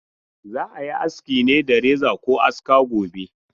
Za a yi aski ne da reza ko aska gobe.